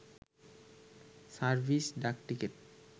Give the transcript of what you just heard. service ডাকটিকেট